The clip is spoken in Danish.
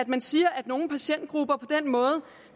man siger at nogle patientgrupper på den måde